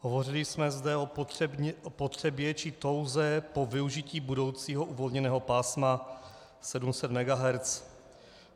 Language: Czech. Hovořili jsme zde o potřebě či touze po využití budoucího uvolněného pásma 700 MHz.